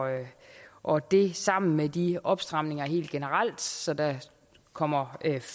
og det sammen med de opstramninger helt generelt så der kommer